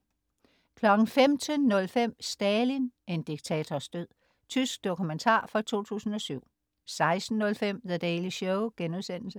15.05 Stalin, en diktators død. Tysk dokumentar fra 2007 16.05 The Daily Show*